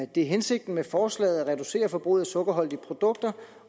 det er hensigten med forslaget at reducere forbruget af sukkerholdige produkter